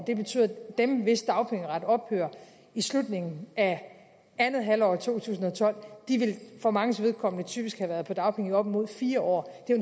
det betyder at dem hvis dagpengeret ophører i slutningen af andet halvår af to tusind og tolv for manges vedkommende typisk vil have været på dagpenge i op mod fire år det er